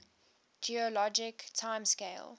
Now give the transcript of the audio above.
geologic time scale